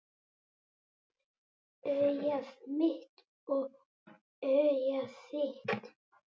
Augað mitt og augað þitt